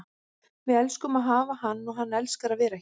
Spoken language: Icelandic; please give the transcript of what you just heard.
Við elskum að hafa hann og hann elskar að vera hér.